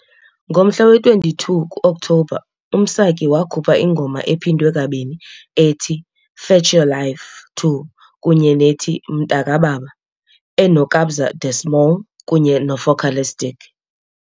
Ngomhla we-22 ku-Okthobha, uMsaki wakhupha ingoma ephindwe kabini ethi "Fetch Your Life II" kunye nethi "Mntakababa" eneKabza De Small kunye neFocalistic .